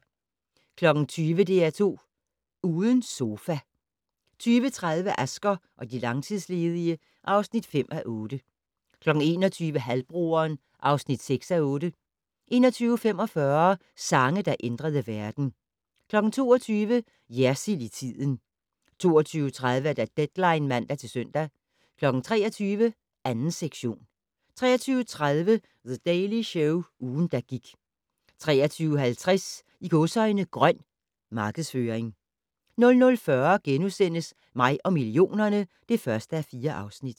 20:00: DR2 Uden sofa 20:30: Asger og de langtidsledige (5:8) 21:00: Halvbroderen (6:8) 21:45: Sange, der ændrede verden 22:00: Jersild i tiden 22:30: Deadline (man-søn) 23:00: 2. sektion 23:30: The Daily Show - ugen, der gik 23:50: "Grøn" markedsføring 00:40: Mig og millionerne (1:4)*